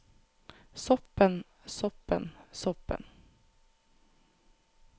soppen soppen soppen